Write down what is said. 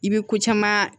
I bɛ ko caman